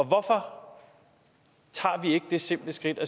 hvorfor tager vi ikke det simple skridt